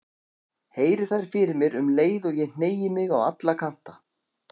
Heyri þær fyrir mér um leið og ég hneigi mig á alla kanta.